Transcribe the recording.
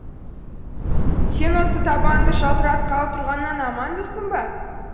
сен осы табаныңды жалтыратқалы тұрғаннан аманбысың ба